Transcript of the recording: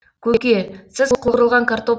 көке сіз қуырылған картоп